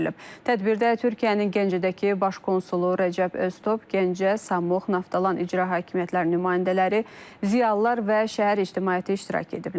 Tədbirdə Türkiyənin Gəncədəki baş konsulu Rəcəb Öztob, Gəncə, Samux, Naftalan icra hakimiyyətləri nümayəndələri, ziyalılar və şəhər ictimaiyyəti iştirak ediblər.